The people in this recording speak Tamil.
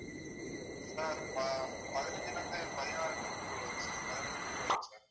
sir ப~பதினைஞ்சுல இருந்து பதினாறு meter குள்ள வரும் sir பதினைஞ்சு meter இருக்கும் sir